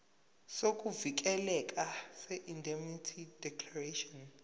sokuvikeleka seindemnity declaration